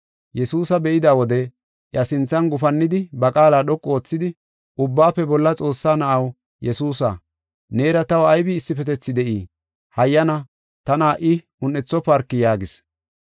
Yesuusa be7ida wode iya sinthan gufannidi, ba qaala dhoqu oothidi, “Ubbaafe Bolla Xoossaa na7aw Yesuusa neera taw aybi issifetethi de7ii? Hayyana tana ha77i un7ethofarki” yaagis.